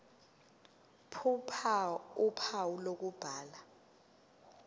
ph uphawu lokubhala